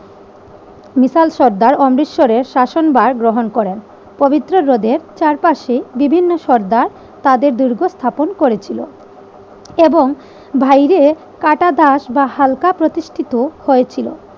মিশাল সর্দার অমৃতসরের শাসনভার গ্রহণ করেন। পবিত্র হ্রদের চারপাশে বিভিন্ন সর্দার তাদের দুর্গ স্থাপন করেছিল এবং বাইরে কাটা দাগ বা হালকা প্রতিষ্ঠিত হয়েছিল।